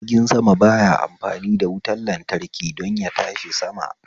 Jirgin sama ba ya amfani da wutan lantraki don yatashi sama